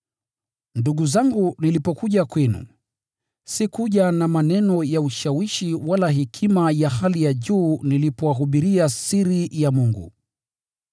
Ndugu zangu nilipokuja kwenu, sikuja na maneno ya ushawishi wala hekima ya hali ya juu nilipowahubiria siri ya Mungu.